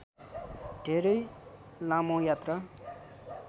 धेरै लामो यात्रा